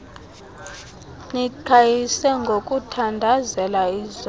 niqhayise ngokuthandazela izono